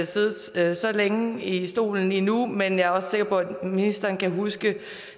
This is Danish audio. siddet så længe i stolen endnu men jeg er også sikker på at ministeren kan huske